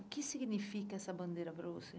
O que significa essa bandeira para você?